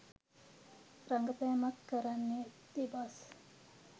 රඟපෑමක් කරන්නෙ දෙබස්